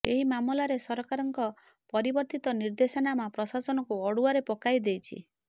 ଏହି ମାମଲାରେ ସରକାରଙ୍କ ପରିବର୍ତ୍ତିତ ନିର୍ଦ୍ଦେଶନାମା ପ୍ରଶାସନକୁ ଅଡୁଆରେ ପକାଇ ଦେଇଛି